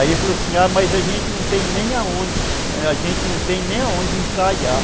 Aí ele falou assim, ah, mas a gente não tem nem onde , a gente não tem onde ensaiar.